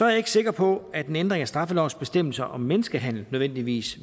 jeg ikke sikker på at en ændring af straffelovens bestemmelse om menneskehandel nødvendigvis